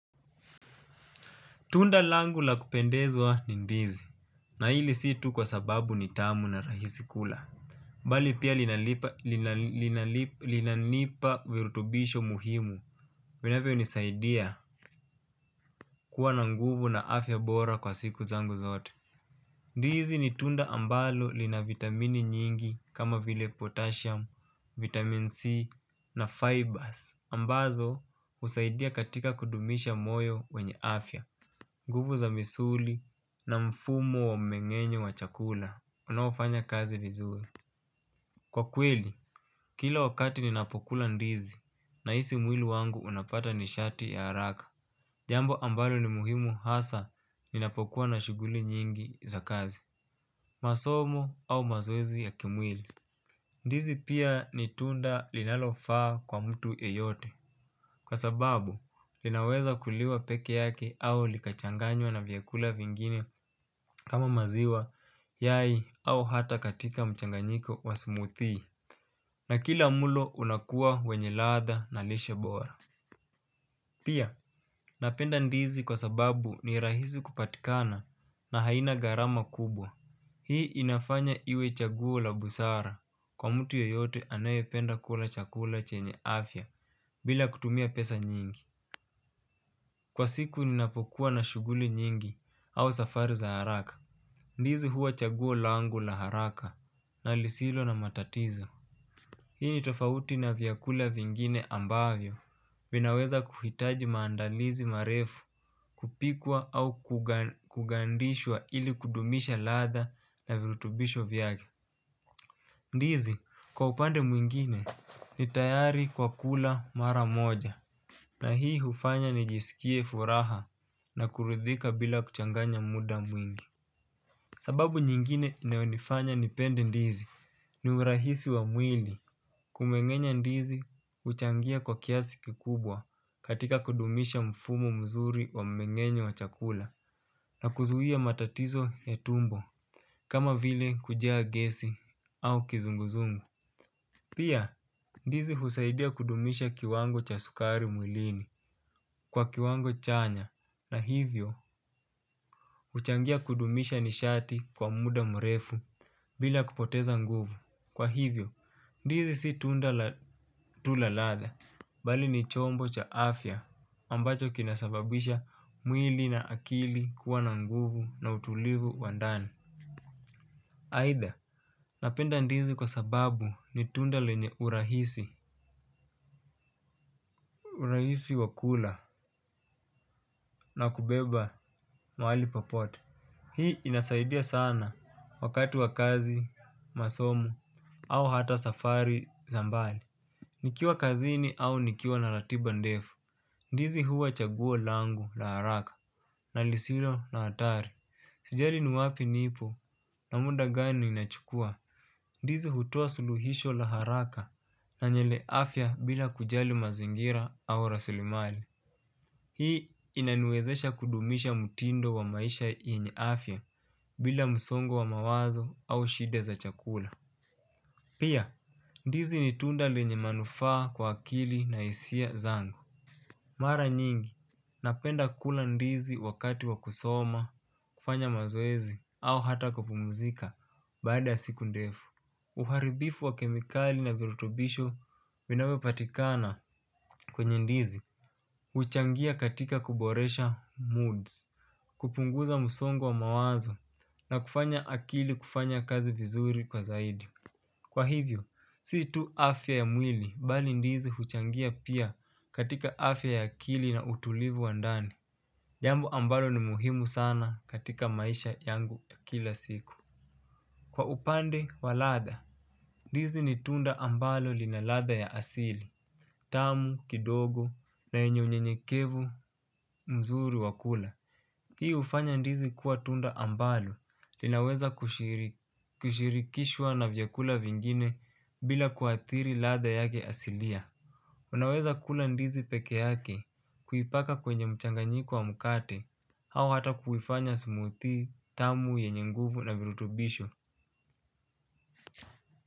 Tunda langu la kupendezwa ni ndizi. Na hili si tu kwa sababu ni tamu na rahisi kula. Mbali pia linanipa virutubisho muhimu. Vinavyo nisaidia kuwa na nguvu na afya bora kwa siku zangu zote. Ndizi ni tunda ambalo lina vitamini nyingi kama vile potassium, vitamin C na fibers. Ambazo usaidia katika kudumisha moyo wenye afya. Nguvu za misuli na mfumo wa mmengenyo wa chakula, unao fanya kazi vizuri. Kwa kweli, kila wakati ninapokula ndizi nahisi mwili wangu unapata nishati ya haraka. Jambo ambalo ni muhimu hasa ninapokuwa na shuguli nyingi za kazi masomo au mazoezi ya kimwili. Ndizi pia ni tunda linalofaa kwa mtu yeyote. Kwa sababu, linaweza kuliwa peke yake au lika changanywa na vyakula vingine kama maziwa, yai au ata katika mchanganyiko wa smoothie. Na kila mlo unakuwa wenye ladha na lishe bora. Pia, napenda ndizi kwa sababu ni rahisi kupatikana na haina gharama kubwa. Hii inafanya iwe chaguo la busara. Kwa mtu yeyote anaye penda kula chakula chenye afya bila kutumia pesa nyingi. Kwa siku ninapokuwa na shuguli nyingi au safari za haraka ndizi huwa chaguo langu la haraka na lisilo na matatizo. Hii ni tofauti na vyakula vingine ambavyo vinaweza kuhitaji maandalizi marefu kupikwa au kugandishwa ili kudumisha ladha na virutubisho vyake. Ndizi kwa upande mwingine ni tayari kwa kula mara moja na hii hufanya nijisikie furaha na kuridhika bila kuchanganya mda mwingi. Sababu nyingine inayo nifanya nipende ndizi ni urahisi wa mwili. Kumengenya ndizi uchangia kwa kiasi kikubwa katika kudumisha mfumo mzuri wa mmengenyo wa chakula na kuzuhia matatizo ya tumbo kama vile kujaa gesi au kizunguzungu. Pia ndizi husaidia kudumisha kiwango cha sukari mwilini kwa kiwango chanya na hivyo uchangia kudumisha nishati kwa mda mrefu bila kupoteza nguvu. Kwa hivyo, ndizi si tunda la tula latda. Bali ni chombo cha afya ambacho kina sababisha mwili na akili kuwa na nguvu na utulivu wa ndani. Aidha, napenda ndizi kwa sababu ni tunda lenye urahisi. Urahisi wa kula na kubeba mahali popote, hii inasaidia sana wakati wa kazi, masomo au ata safari za mbali. Nikiwa kazini au nikiwa na ratiba ndefu. Ndizi huwa chaguo langu la haraka na lisilo na hatari. Sijali ni wapi nipo na mda gani inachukua. Ndizi hutoa suluhisho la haraka na yenye afya bila kujali mazingira au rasilimali. Hii inaniwezesha kudumisha mtindo wa maisha yenye afya bila msongo wa mawazo au shida za chakula. Pia ndizi ni tunda lenye manufaa kwa akili na hisia zangu. Mara nyingi, napenda kula ndizi wakati wa kusoma, kufanya mazoezi au hata kupumzika baada ya siku ndefu. Uharibifu wa kemikali na virutubisho vinavyo patikana kwenye ndizi uchangia katika kuboresha moods. Kupunguza msongo wa mawazo na kufanya akili kufanya kazi vizuri kwa zaidi. Kwa hivyo, si tu afya ya mwili, bali ndizi huchangia pia katika afya ya akili na utulivu wa ndani. Jambo ambalo ni muhimu sana katika maisha yangu ya kila siku. Kwa upande, wa ladha. Ndizi ni tunda ambalo lina ladha ya asili, tamu, kidogo, na yenye unyenyekevu, mzuri, wa kula. Hii ufanya ndizi kuwa tunda ambalo, linaweza kushirikishwa na vyakula vingine bila kuathiri ladha yake asilia. Unaweza kula ndizi peke yake, kuipaka kwenye mchanganyiko wa mkate, au ata kuifanya smoothie, tamu, yenye nguvu na virutubisho.